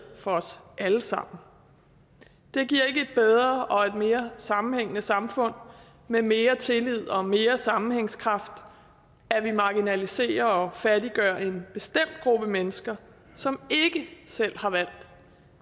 for os alle sammen det giver ikke et bedre og mere sammenhængende samfund med mere tillid og mere sammenhængskraft at vi marginaliserer og fattiggør en bestemt gruppe mennesker som ikke selv har valgt